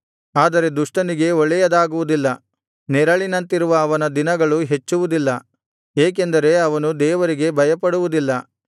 ಆದರೆ ದುಷ್ಟನಿಗೆ ಒಳ್ಳೆಯದಾಗುವುದಿಲ್ಲ ನೆರಳಿನಂತಿರುವ ಅವನ ದಿನಗಳು ಹೆಚ್ಚುವುದಿಲ್ಲ ಏಕೆಂದರೆ ಅವನು ದೇವರಿಗೆ ಭಯಪಡುವುದಿಲ್ಲ